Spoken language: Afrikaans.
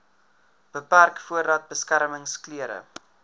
beperk voordat beskermingsklere